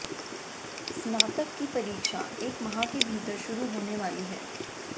स्नातक की परीक्षा एक माह के भीतर शुरू होने वाली है